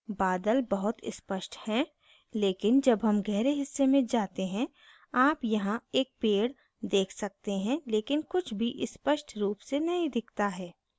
बादल बहुत स्पष्ट हैं लेकिन जब हम गहरे हिस्से में जाते हैं आप यहां एक पेड़ देख सकते हैं लेकिन कुछ भी स्पष्ट रूप से नहीं दिखता है